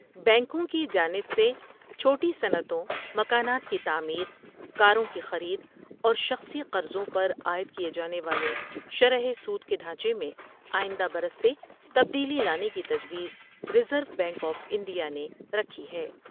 بینکوں کی جانب سے چھوٹی صنعتوں مکانات کی تعمیر کاروں کی خرید اورشخصی قرضوں پر عائد کیے جانے والے شرح سود کے ڈھانچے میں آئندہ برس سے تبدیلی لانے کی تجویز Reserve Bank of India نے رکھی ہے ۔